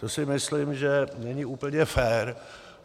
To si myslím, že není úplně fér.